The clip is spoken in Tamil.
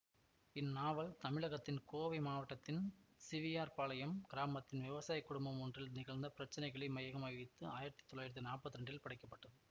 இந்நாவல் தமிழகத்தின் கோவை மாவட்டத்தின் சிவியார் பாளையம் கிராமத்தின் விவசாய குடும்பம் ஒன்றில் நிகழ்ந்த பிரச்சினைகளை மையமாக வைத்து ஆயிரத்தி தொள்ளாயிரத்தி நாப்பத்தி இரண்டில் படைக்க பட்டது